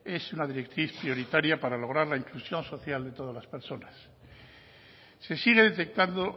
es una directriz prioritaria para lograr la inclusión social de todas las personas se sigue detectando